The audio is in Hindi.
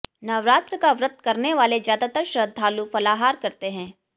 नवरात्र का व्रत करने वाले ज्यादातर श्रद्धालु फलाहार करते हैं